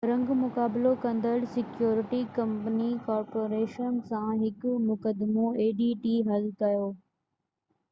رنگ مقابلو ڪندڙ سيڪيورٽي ڪمپني adt ڪارپوريشن سان هڪ مقدمو حل ڪيو